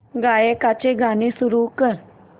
गायकाचे गाणे सुरू कर